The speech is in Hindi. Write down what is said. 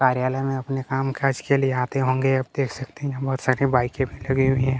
कार्यलय में अपने काम-काज के लिए आते होंगे आप देख सकते है यहाँ पे बहोत सारी बाइके भी लगी हुई है।